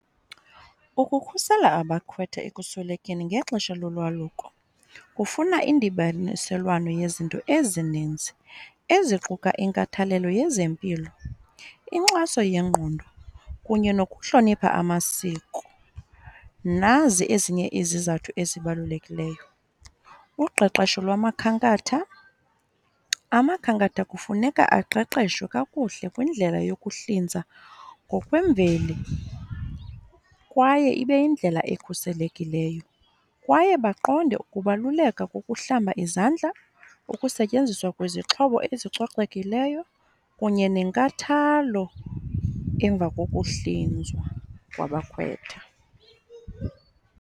Ukukhusela abakhwetha ekuswelekeni ngexesha lolwaluko kufuna indibaniselwano yezinto ezininzi eziquka inkathalelo yezempilo, inkxaso yengqondo, kunye nokuhlonipha amasiko. Nazi ezinye izizathu ezibalulekileyo, uqeqesho lwamakhankatha. Amakhankatha kufuneka aqeqeshwe kakuhle kwindlela yokuhlinza ngokwemveli kwaye ibe yindlela ekhuselekileyo, kwaye baqonde ukubaluleka kokuhlamba izandla, ukusetyenziswa kwezixhobo ezicocekileyo, kunye nenkathalo emva kokuhlinzwa kwabakhwetha.